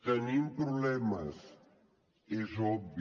tenim problemes és obvi